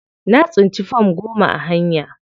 Na tsinci fam goma a hanya.